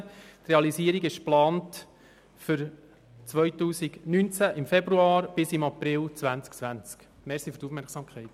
Die Realisierung ist ab Februar 2019 bis April 2020 geplant.